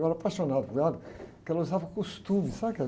Eu era apaixonado por ela, porque ela usava costume, sabe aquela